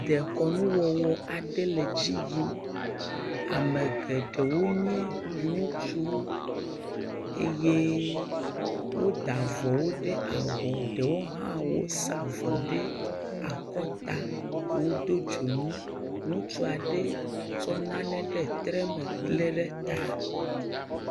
Dekɔnuwɔwɔ aɖe le edzi yim, ame geɖewo nye ŋutsuwo eye woda avɔwo ɖe abɔ eɖewo hã wosa avɔwo ɖe akɔta ɖewo do dzonu, ŋutsu aɖe tsɔ nane ɖe tre me lé ɖe ta.